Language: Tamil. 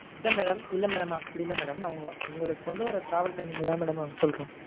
இல்ல madam இல்ல madam அப்படி இல்ல madam. நா உங்களுக்கு கொண்டுவர travel time க்குதா madam அப்படி சொல்றோம்.